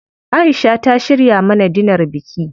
Aisha ta shirya mana dinar biki.